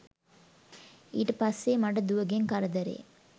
ඊට පස්සෙ මට දුවගෙන් කරදරේ